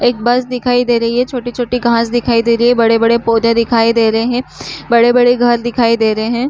एक बस दिखाई दे रही है छोटी छोटी घास दिखाई दे रही है बड़े बड़े पौधे दिखाई दे रहे है बड़े बड़े घर दिखाई दे रहे है ।